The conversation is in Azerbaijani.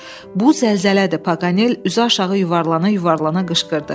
Bu zəlzələdir, Paganel üzü aşağı yuvarlana-yuvarlana qışqırdı.